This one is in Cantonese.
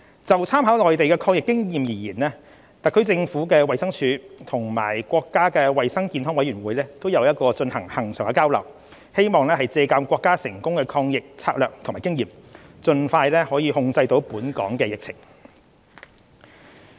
就參考內地抗疫的經驗而言，特區政府衞生署和國家衞生健康委員會有進行恆常交流，希望借鑒國家成功抗疫的策略和經驗，盡快控制本港的疫情。